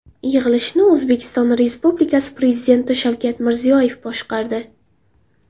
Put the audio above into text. Yig‘ilishni O‘zbekiston Respublikasi Prezidenti Shavkat Mirziyoyev boshqardi.